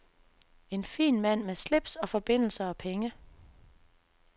En fin mand med slips og forbindelser og penge.